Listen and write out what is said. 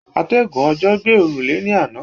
Atẹ́gùn òjò gbé òrùlé ní àná.